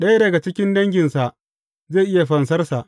Ɗaya daga cikin danginsa zai iya fansarsa.